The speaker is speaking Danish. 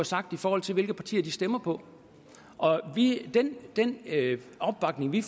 sagt i forhold til hvilke partier de stemmer på og den opbakning vi